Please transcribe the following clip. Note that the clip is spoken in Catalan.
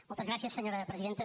moltes gràcies senyora presidenta